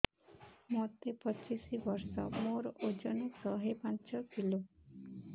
ମୋତେ ପଚିଶି ବର୍ଷ ମୋର ଓଜନ ଶହେ ପାଞ୍ଚ କିଲୋ